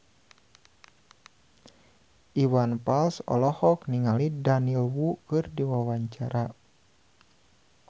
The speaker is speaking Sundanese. Iwan Fals olohok ningali Daniel Wu keur diwawancara